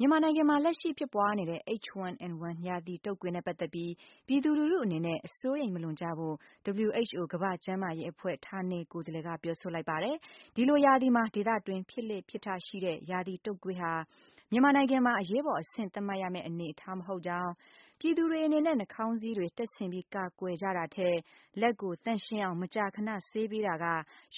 မြန်မာနိုင်ငံမှာ လက်ရှိဖြစ်ပွားနေတဲ့ H1N1 ရာသီတုပ်ကွေးနဲ့ ပတ်သက်ပြီး ပြည်သူလူထုအနေနဲ့ အစိုးရိမ်မလွန်ကြဖို့ WHO ကမ္ဘာ့ကျန်းမာရေးအဖွဲ့ ဌာနေကိုယ်စားလှယ်ကပြောဆိုလိုက်ပါတယ်။ ဒီလိုရာသီမှာ ဒေသတွင်း ဖြစ်လေ့ဖြစ်ထရှိတဲ့ ရာသီတုပ်ကွေးဟာ၊ မြန်မာနိုင်ငံမှာ အရေးပေါ်အဆင့်သတ်မှတ်ရမယ့်အနေအထားမဟုတ်ကြောင်း ပြည်သူတွေအနေနဲ့ နှာခေါင်းစည်းတွေ တပ်ဆင်ပြီးကာကွယ်ကြတာထက်၊ လက်ကိုသန့်ရှင်းအောင်မကြာခဏဆေးပေးတာက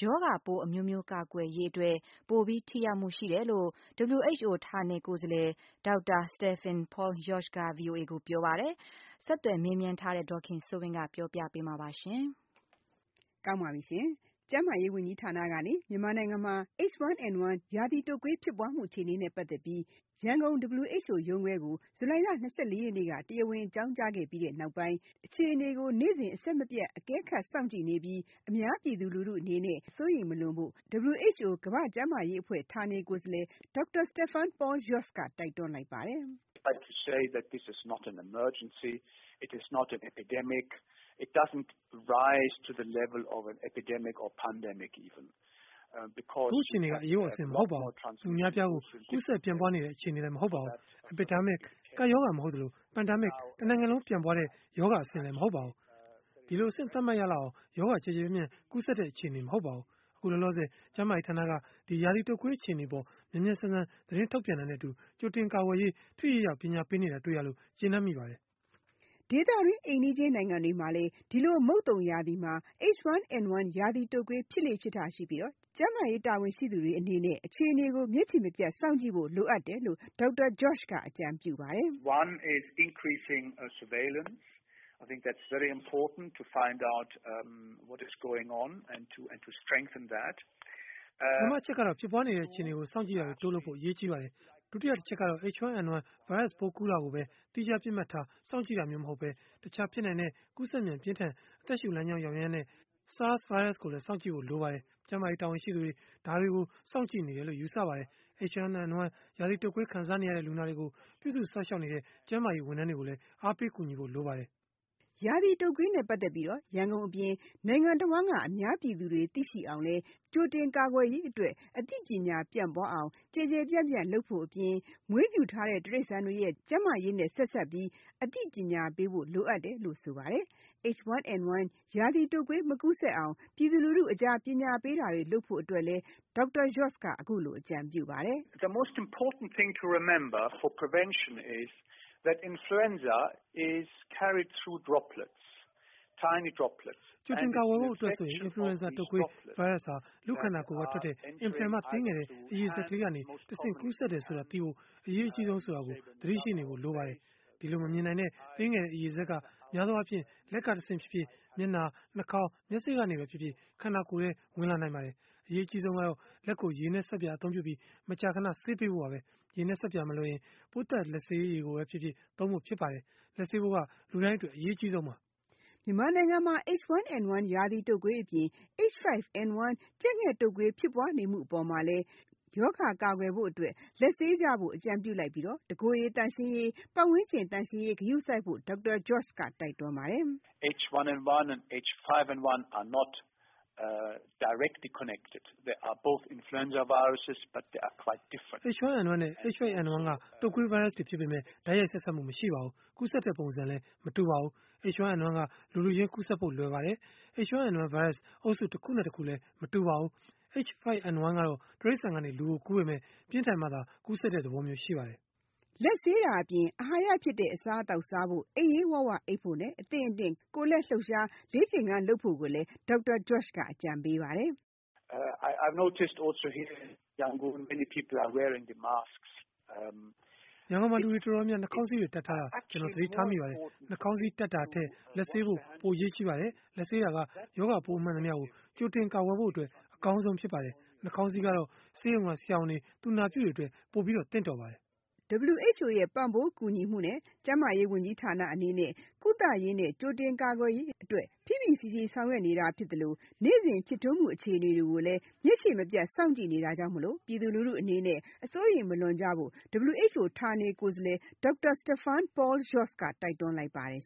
ရောဂါပိုးအမျိုးမျိုးကာကွယ်ရေးအတွက် ပိုပြီး ထိရောက်မှုရှိတယ်လို့ WHO ဌာနေကိုယ်စားလှယ် Dr. Stephen Paul Jost က VOA ကိုပြောပါတယ်။ ဆက်သွယ်မေးမြန်းထားတဲ့ ဒေါ်ခင်စိုးဝင်းက ပြောပြပေးမှာပါ။ ကျန်းမာရေးဝန်ကြီးဌာနကနေ မြန်မာနိုင်ငံမှာ H1N1 ရာသီတုပ်ကွေးဖြစ်ပွားမှုအခြေအနေနဲ့ ပတ်သက်ပြီး WHO ရန်ကုန်ရုံးခွဲကို ဇူလိုင်လ ၂၄ ရက်နေ့က တရားဝင်အကြောင်းကြားခဲ့ပြီးနောက်ပိုင်း အခြေအနေကိုနေ့စဉ် အဆက်မပြတ်အကဲခတ်စောင့်ကြည့်နေပြီး အများပြည်သူအနေနဲ့ အစိုးရိမ်မလွန်ဖို့ ကမ္ဘာ့ကျန်းမာရေးအဖွဲ့ ဌာနေကိုယ်စားလှယ် Dr. Stephen Paul Jost က တိုက်တွန်းလိုက်ပါတယ်။ “အခုအခြေအနေက အရေးပေါ်အဆင့်မဟုတ်ပါဘူး။ လူအများအပြားကို ကူးစက်ပြန့်ပွားနေတဲ့ အခြေအနေလည်းမဟုတ်ပါဘူး။ Epidemic ကပ်ရောဂါမဟုတ်သလို၊ Pandemic တနိုင်ငံလုံးပြန့်ပွားတဲ့ရောဂါ အဆင့်မဟုတ်ပါဘူး။ ဒီလိုအဆင့်သတ်မှတ်ရလောက်အောင်၊ ရောဂါကျယ်ကျယ်ပြန့်ပြန့်ကူးစက်တဲ့ အခြေအနေမဟုတ်ပါဘူး။ အခုလောလောဆယ်ကျန်းမာရေးဌာနက ဒီရာသီတုပ်ကွေးအခြေအနေအပေါ် မြန်မြန်ဆန်ဆန်သတင်းထုတ်ပြန်တာနဲ့အတူ၊ ကြိုတင်ကာကွယ်ရေးအတွက် ထိထိရောက်ရောက်ပညာပေးနေတာတွေ့ရလို့၊ ကျေနပ်မိပါတယ်။” ဒေသတွင်းအိမ်နီးချင်းနိုင်ငံတွေမှာလည်း၊ ဒီလိုမုတ်သုန်ရာသီမှာ H1N1 ရာသီတုပ်ကွေး ဖြစ်လေ့ဖြစ်ထရှိပြီး၊ ကျန်းမားရေးတာဝန်ရှိသူတွေနဲ့ အခြေအနေကို မျက်ခြေမပြတ်စောင့်ကြည့်ဖို့ လိုအပ်တယ်လို့ Dr. Jost က အခုလိုအကြံပြုပါတယ်။ “ပထမအချက်ကတော့၊ ဖြစ်ပွားနေတဲ့အခြေအနေကို စောင့်ကြည့်တာတွေတိုးလုပ်ဖို့ အရေးကြီးပါတယ်။ ဒုတိယအချက်ကတော့ H1N1 virus ပိုးကူးစက်တာကိုဘဲ သီးခြားပစ်မှတ်ထားစောင့်ကြည့်တာမျိုးမဟုတ်ဘဲ၊ တခြား ဖြစ်နိုင်တဲ့ ကူးစက်မြန်ပြင်းထန် အသက်ရှူလမ်းကြောင်းရောင်ယမ်းတဲ့ SARI virus ကိုလည်းစောင့်ကြည့်ဖို့လိုပါတယ်။ ကျန်းမာရေးတာဝန်ရှိသူတွေက ဒါတွေကိုစောင့်ကြည့်နေတယ်လို့ ယူဆပါတယ်။ H1N1 ရာသီတုပ်ကွေးခံစားနေရတဲ့ လူနာတွေကို ပြုစုစောင့်ရှောက်နေကြတဲ့ ကျန်းမာရေးဝန်ထမ်းတွေကိုလည်း အားပေးကူညီဖို့လိုပါတယ်။” ရာသီတုပ်ကွေးနဲ့ ပတ်သက်ပြီး၊ ရန်ကုန်အပြင်၊ နိုင်ငံတဝန်းက အများပြည်သူတွေသိအောင်လည်း ကြိုတင်ကာကွယ်ရေး၊ အသိပညာ ပြန့်ပွားအောင် ကျယ်ကျယ်ပြန့်ပြန့်လုပ်ဖို့အပြင်၊ မွေးမြူထားတဲ့ တရိစ္ဆာန်တွေရဲ့ ကျန်းမာရေးနဲ့လည်း ဆက်စပ်ပြီး အသိပညာပေးဖို့လိုတယ်လို့ဆိုပါတယ်။ H1N1 ရာသီတုပ်ကွေးမကူးစက်အောင်၊ ပြည်သူလူထုအကြား ပညာပေးတာတွေလုပ်ဖို့အတွက်လည်း Dr. Stephen Jost က အခုလိုအကြံပြုပါတယ်။ "ကြိုတင်ကာကွယ်ဖို့အတွက်ဆိုရင် Influenza တုပ်ကွေး Virus ဟာ လူ့ခန္ဒာကထွက်တဲ့ အင်မတန်မှသေးငယ်တဲ့အရည်စက်ကလေးကနေ တဆင့်ကူးစက်တယ်ဆိုတာ သိဖို့အရေးကြီးဆုံးဆိုတာကို သတိရှိနေဖို့ပါဘဲ။ အဲဒီမမြင်နိုင်တဲ့ သေးငယ်တဲ့ အရည်စက်က များသေားအားဖြင့်လက်ကတဆင့်ဖြစ်ဖြစ်၊ မျက်နှာက၊ နှာခေါင်း၊ မျက်စေ့ကနေဖြစ်ဖြစ်၊ ခန္ဒာကိုယ်ထဲဝင်လာနိုင်တာပါ။ အရေးကြီးဆုံးကတော့ လက်ကို ရေနဲ့ ဆပ်ပြာအသုံးပြုပြီး မကြာခဏဆေးပေးဖို့ပါဘဲ။ ရေနဲ့ ဆပ်ပြာမလွယ်ရင်၊ ပိုးသတ်လက်ဆေးရည်ကိုသုံးဖို့ဖြစ်ပါတယ်။ လက်ဆေးဖို့ကလူတိုင်းအတွက်အရေးကြီးဆုံးပါဘဲ။” မြန်မာနိုင်ငံမှာ H1N1 ရာသီတုပ်ကွေးအပြင် H5N1 ကြက်ငှက်တုပ်ကွေးဖြစ်ပွားနေတဲ့အပေါ်မှလည်းေ ရာဂါကာကွယ်ဖို့အတွက် လက်ဆေးကြဖို့ အကြံပြုလိုက်ပြီး၊ တကိုယ်ရေ သန့်ရှင်းရေး၊ ပတ်ဝန်းကျင်သန့်ရှင်းရေး ဂရုစိုက်ဖို့ Dr. Jost က တိုက်တွန်းပါတယ်။ “H1N1 နဲ့ H5N1 က တုပ်ကွေး Virus တွေဖြစ်ပေမဲ့၊ တိုက်ရိုက်ဆက်စပ်မှုမရှိပါဘူး။ ကူးစက်တဲ့ပုံစံကလည်းမတူပါဘူး။ H1N1 က လူလူချင်းကူးစက်ဖို့လွယ်ပါတယ်။ H1N1 Virus အုပ်စုတခုနဲ့ တခုလည်းမတူပါဘူး။ H5N1 ကတော့ တိရိစ္ဆာန်ကနေလူကို ကူးစက်ပေမဲ့ ပြင်းထန်မှသာကူးစက်တဲ့သဘောရှိပါတယ်။” လက်ဆေးတာအပြင်၊ အဟာရဖြစ်တဲ့အစားအသောက်စားဖို့၊ အိပ်ရေးဝဝအိပ်ဖို့နဲ့ အသင့်အတင့်ကိုယ်လက်လှုပ်ရှားလေ့ကျင့်ခန်းလုပ်ဖို့လည်း Dr. Jost ကအကြံပေးပါတယ်။ "ရန်ကုန်မှာ လူူတွေအတော်များများ နှာခေါင်းစည်းတွေ တပ်ထားတာ ကျွန်တော်သတိထားမိပါတယ်။ နှာခေါင်းစည်းတပ်တာထက်၊ လက်ဆေးကြဖို့ ပိုအရေးကြီးပါတယ်။ လက်ဆေးတာက ရောဂါပိုးမှန်သမျှကို ကြိုတင်ကာကွယ်ဖို့အတွက် အကောင်းဆုံးဖြစ်ပါတယ်။ နှာခေါင်းစည်းကတော့ ဆေးရုံကဆရာဝန်တွေ၊ သူနာပြုတွေအတွက် ပိုပြီးသင့်တော်ပါတယ်။" ကျန်းမာရေးဝန်ကြီးဌာနအနေနဲ့ WHO ရဲ့ဆေးပစ္စည်းနဲ့နည်းပညာ ပံ့ပိုးကူညီမှုနဲ့ ကုသရေးနဲ့ ကြိုတင်ကာကွယ်ရေးအတွက် ဖိဖိစီးစီးဆောင်ရွက်နေတာဖြစ်သလို၊ နေ့စဉ်ဖြစ်ထွန်းမှုအခြေအနေတွေကို မျက်ခြေမပြတ်စောင့်ကြည့်နေတာကြောင့်၊ ပြည်သူလူထုအနေနဲ့ အစိုးရိမ်မလွန်ကြဖို့ WHO ဌာနေကိုယ်စားလှယ် Stephen Paul Jost က တိုက်တွန်းလိုက်ပါတယ်